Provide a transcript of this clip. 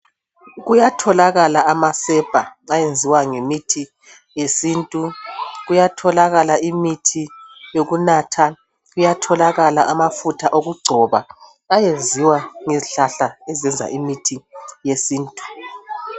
Kuyatholakala amasepa ayenziwa ngemithi yesintu , kuyatholakala imithi yokunatha, kuyatholakala amafutha wokugcoba ayenziwa ngezihlahla ezenza imithi yesintu